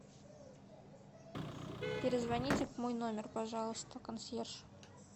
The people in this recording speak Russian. перезвоните в мой номер пожалуйста консьерж